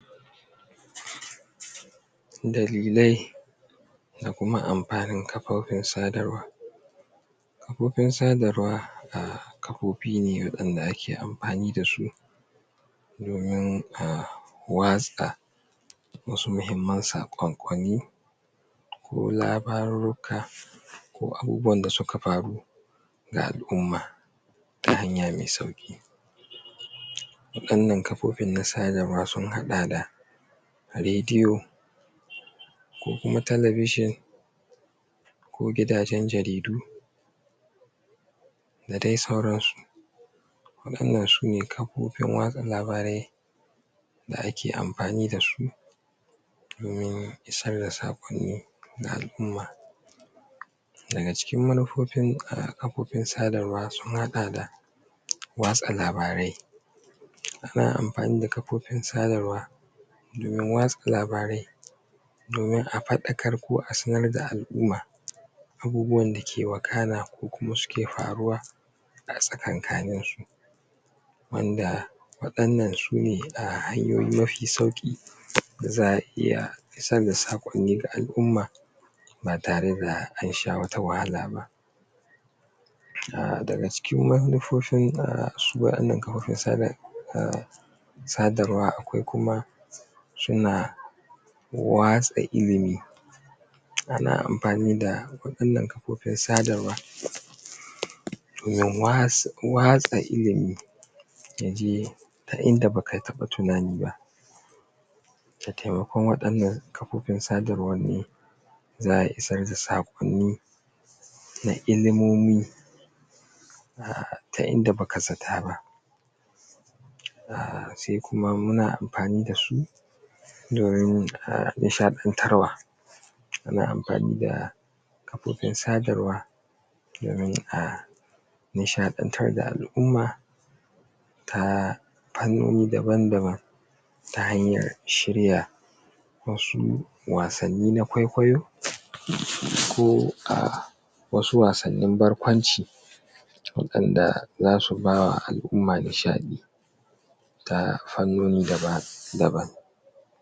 Dalilai da kuma amfani kafofin sadarwa Kafofin sadarwa kafofi ne waɗanda ake amfani dasu domin a watsa wasu muhimman sakonkoni ko labarurruka ko abubuwan da suka faru da al’umma ta hanya mai sauki waɗannan kafofin sadarwa sun haɗa da radiyo ko kuma talabishin ko gidajen jaridu da dai sauransu waɗannan sune kafofin watsa labarai da ake amfani dasu domin isar da sakonni ga al’umma daga cikin manufofin kafofin sadarwa sun haɗa da watsa labarai ana amfani da kafofin sadarwa domin watsa labarai domin a faɗakar ko a sanar da al’umma abubuwan da suke wakana ko suke faruwa a tsakaninsu Wanda waɗannan sune ah hanyoyi mafi sauƙi da za’a iya isar da sakonni ga al’umma ba tare da ansha wata wahala ba daga cikin manufofin ahh su waɗannan kafofin sadar ahh sadarwa akwai kuma suna watsa ilimin ana amfani da waɗannan kafofin sadarwa wajan watsa watsa ilimin yaje har inda baka taɓa tunani ba da taimakon wannan kafofin sadarwar ne zaa isar da sakonni na ilimomi ta idan baka zata ba sai kuma muna amfani dasu domin nishaɗantarwa ana amfani da kafofin sadarwa domin a nishaɗantar da al’umma ta fannoni daban daban ta hanya shirya wasu wasanni na kwaikwayo ko ahh wasu wasannin barkwanci waɗanda zasu bawa al’umma nishaɗi ta fannoni daban daban